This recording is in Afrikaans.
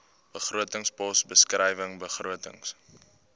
begrotingspos beskrywing begrotings